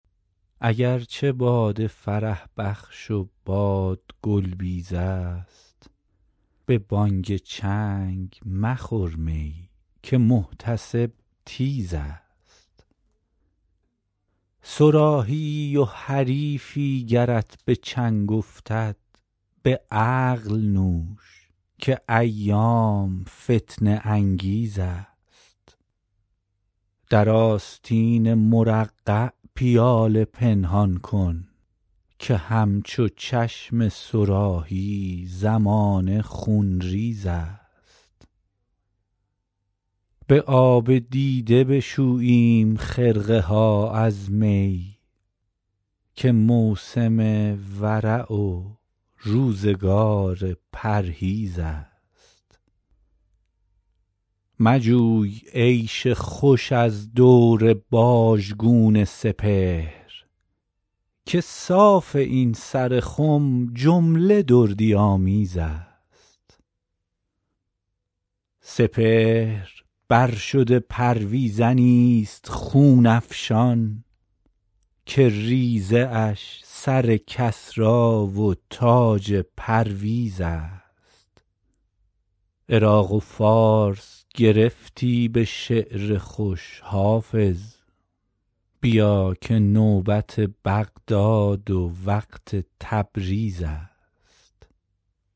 اگر چه باده فرح بخش و باد گل بیز است به بانگ چنگ مخور می که محتسب تیز است صراحی ای و حریفی گرت به چنگ افتد به عقل نوش که ایام فتنه انگیز است در آستین مرقع پیاله پنهان کن که همچو چشم صراحی زمانه خونریز است به آب دیده بشوییم خرقه ها از می که موسم ورع و روزگار پرهیز است مجوی عیش خوش از دور باژگون سپهر که صاف این سر خم جمله دردی آمیز است سپهر بر شده پرویزنی ست خون افشان که ریزه اش سر کسری و تاج پرویز است عراق و فارس گرفتی به شعر خوش حافظ بیا که نوبت بغداد و وقت تبریز است